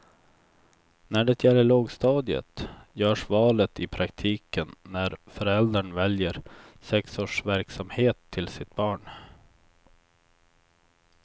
När det gäller lågstadiet görs valet i praktiken när föräldern väljer sexårsverksamhet till sitt barn.